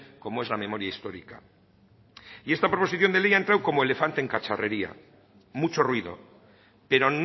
como es la memoria histórica y esta proposición de ley ha entrado como elefante en cacharrería mucho ruido pero